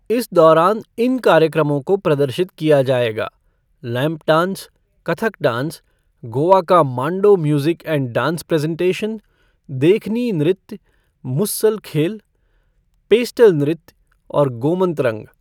इस दौरान इन कार्यक्रमों को प्रदर्शित किया जाएगा lamp dance, Kathak dance, Goa का Mando music and dance presentation, Dekhni नृत्य, मुसल खेल, पेस्टल नृत्य और गोमंत रंग।